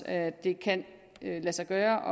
at det kan lade sig gøre